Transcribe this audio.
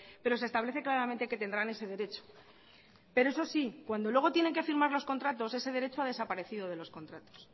pero se establece claramente que tendrán ese derecho pero eso sí cuando luego tienen que firmar los contratos ese derecho ha desaparecido de los contratos